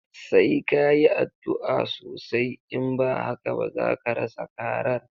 Sai ka yi addu'a osai, in ba haka ba zaka rasa karar.